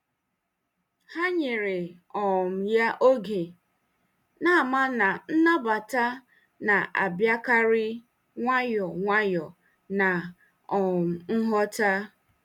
Ha nyere um ya oge, na-ama na nnabata na-abịakarị nwayọọ nwayọọ na um nghọta.